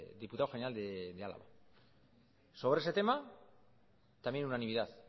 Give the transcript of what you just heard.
diputado general de álava sobre ese tema también unanimidad